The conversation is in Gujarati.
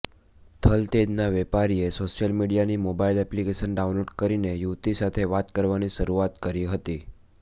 થલતેજના વેપારીએ સોશિયલ મીડિયાની મોબાઈલ એપ્લિકેશન ડાઉનલોડ કરીને યુવતી સાથે વાત કરવાની શરૂઆત કરી હતી